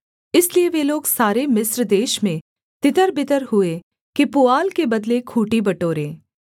इसलिए वे लोग सारे मिस्र देश में तितरबितर हुए कि पुआल के बदले खूँटी बटोरें